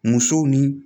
Musow ni